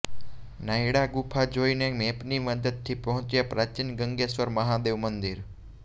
નાઈડા ગુફા જોઈને મેપની મદદથી પહોંચ્યા પ્રાચીન ગંગેશ્વર મહાદેવ મંદિર